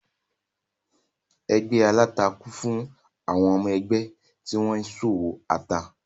Ẹgbé aláta kún fún àwọn ọmọ-ẹgbẹ́ tí wọ́n ń ṣòwò ata.